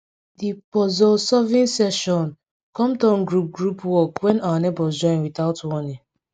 di pozulsolving session kom turn group group work when our neighbors join without warning